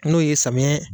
N'o ye samiya